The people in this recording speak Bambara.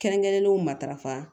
Kɛrɛnkɛrɛnnenw matarafa